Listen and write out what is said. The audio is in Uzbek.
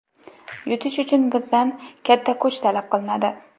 Yutish uchun bizdan katta kuch talab qilinadi.